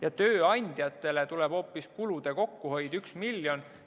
Ja tööandjatele tuleb hoopis kulude kokkuhoid 1 miljon.